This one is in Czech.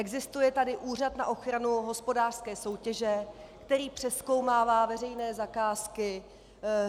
Existuje tady Úřad na ochranu hospodářské soutěže, který přezkoumává veřejné zakázky.